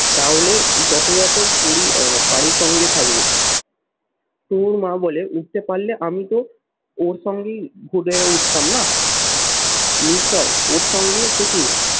তাহলে যথাযথ পরি আহ পারি সঙ্গে থাকবো তুনোর মা বলে উঠতে পারলে আমি তো ওর সঙ্গেই ফুটে উঠতাম না নিশ্চয় ওর সঙ্গে থেকে